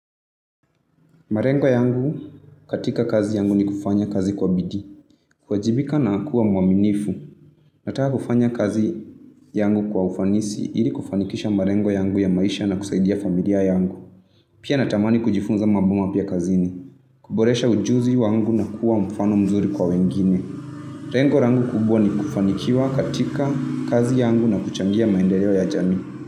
Ma rengo yangu katika kazi yangu ni kufanya kazi kwa bidi. Kwa jibika na akua mwaminifu. Nataa kufanya kazi yangu kwa ufanisi ili kufanikisha ma rengo yangu ya maisha na kusaidia familiar yangu. Pia na tamani kujifunza mabuma pia kazini. Kuboresha ujuzu yuangu na kuwa mfano mzuri kwa wengine. Rengo rangu kubwa ni kufanikiwa katika kazi yangu na kuchangia maendeleo ya janu.